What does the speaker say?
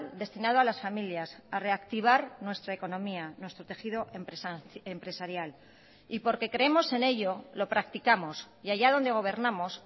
destinado a las familias a reactivar nuestra economía nuestro tejido empresarial y porque creemos en ello lo practicamos y allá donde gobernamos